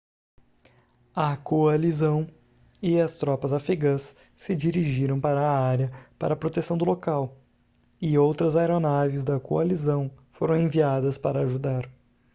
a coalizão e as tropas afegãs se dirigiram para a área para proteção do local e outras aeronaves da coalizão foram enviadas para ajudar